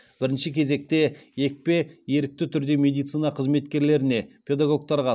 бірінші кезекте екпе ерікті түрде медицина қызметкерлеріне педагогтарға